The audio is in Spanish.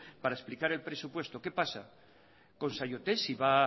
para explicar el presupuesto qué pasa con saiotek si va